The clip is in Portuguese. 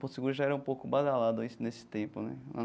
Porto Seguro já era um pouco badalado aí nesse tempo, né?